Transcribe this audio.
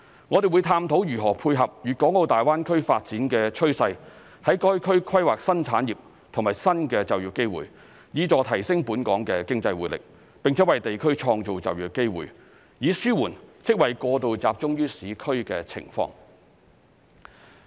我們會探討如何配合粵港澳大灣區發展的趨勢，在該區規劃新產業和新的就業機會，以助提升本港的經濟活力，並且為地區創造就業機會，以紓緩職位過度集中於市區的情況。